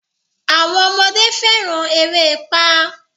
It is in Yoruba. Àwọn ọmọdé fẹ́ràn erépá.